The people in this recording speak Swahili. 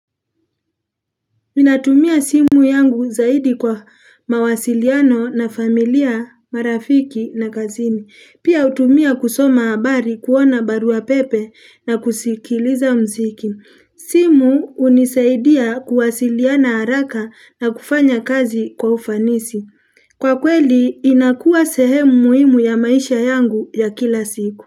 Ninatumia simu yangu zaidi kwa mawasiliano na familia, marafiki na kazini. Pia hutumia kusoma habari kuona barua pepe na kusikiliza muziki. Simu hunisaidia kuwasiliana haraka na kufanya kazi kwa ufanisi. Kwa kweli inakuwa sehemu muhimu ya maisha yangu ya kila siku.